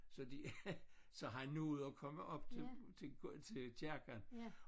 Så de så han nåede at komme op til til til kirken